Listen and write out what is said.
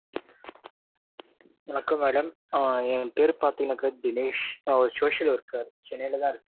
வணக்கம் madam ஏன் பெரு பாத்திங்கன்னாக்க தினேஷ் நா ஒரு social worker சென்னையில தான் இருக்கேன்.